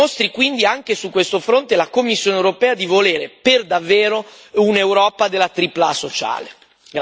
Ci dimostri quindi, anche su questo fronte, la Commissione europea di volere per davvero un'Europa della tripla A sociale.